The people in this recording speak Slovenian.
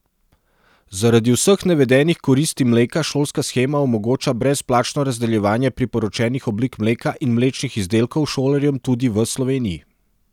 Zaradi vseh navedenih koristi mleka šolska shema omogoča brezplačno razdeljevanje priporočenih oblik mleka in mlečnih izdelkov šolarjem tudi v Sloveniji.